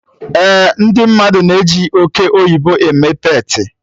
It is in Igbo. Eh, ndị mmadụ na-eji oke oyibo eme peetị